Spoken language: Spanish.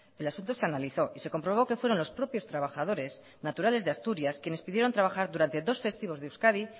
el asunto se analizó y se comprobó que fueron los propios trabajadores naturales de asturias quienes pidieron trabajar durante dos festivos de euskadi